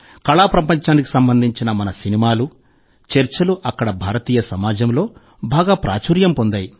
కళా ప్రపంచానికి సంబంధించిన మన సినిమాలు చర్చలు అక్కడి భారతీయ సమాజంలో బాగా ప్రాచుర్యం పొందాయి